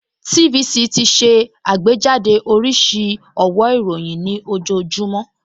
TVC ti ṣe àgbéjáde oríṣiríṣi ọ̀wó ìròyìn nih ojoojúmọ́